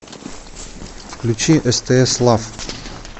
включи стс лав